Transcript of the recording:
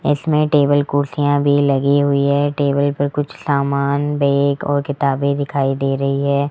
इसमें टेबल कुर्सियां भी लगी हुई है टेबल पे कुछ सामान बेग और किताबें दिखाई दे रही है।